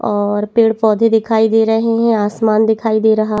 और पेड़-पौधे दिखाई दे रहे है आसमान दिखाई दे रहा--